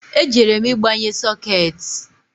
E jere m igbanye sokeeti